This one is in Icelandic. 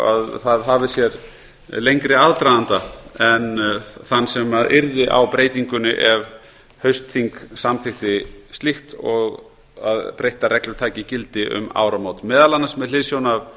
að það eigi sér lengri aðdraganda en þann sem yrði á breytingunni ef haustþing samþykkti slíkt og að breyttar reglur taki gildi um áramót meðal annars með hliðsjón